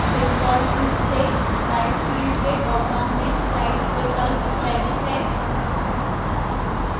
default रूप से type field के ड्रापडाउन में slides विकल्प चयनित है